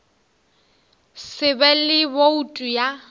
se be le boutu ya